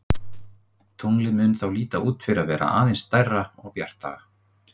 Tunglið mun þá líta út fyrir að vera aðeins stærra og bjartara.